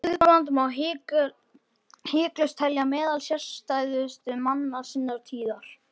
Guðbrand má hiklaust telja meðal sérstæðustu manna sinnar tíðar.